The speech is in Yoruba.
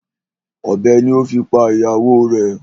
Ọ̀bẹ ni o fi pa ìyàwó rẹ̀.